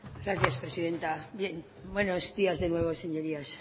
gracias presidenta bien buenos días de nuevo señorías